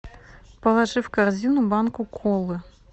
положи в корзину банку колы